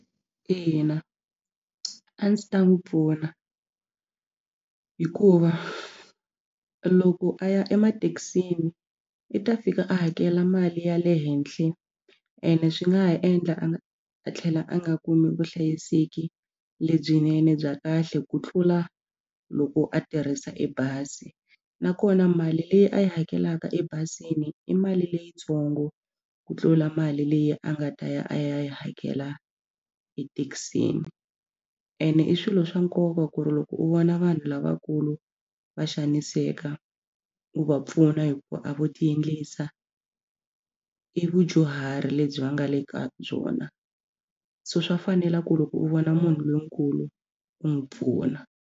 Ina, a ndzi ta n'wi pfuna hikuva loko a ya emathekisini i ta fika a hakela mali ya le henhla ene swi nga ha endla a a tlhela a nga kumi vuhlayiseki lebyinene bya kahle ku tlula loko a tirhisa ebazi nakona mali leyi a yi hakelaka ebazini i mali leyitsongo ku tlula mali leyi a nga ta ya a ya yi hakela ethekisini ene i swilo swa nkoka ku ri loko u vona vanhu lavakulu va xaniseka u va pfuna hikuva a vo tiendlisa i vadyuhari lebyi va nga le ka byona so swa fanela ku loko u vona munhu lonkulu u n'wi pfuna.